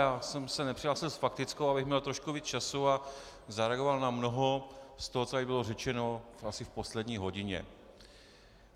Já jsem se nepřihlásil s faktickou, abych měl trošku víc času a zareagoval na mnoho z toho, co tady bylo řečeno asi v poslední hodině.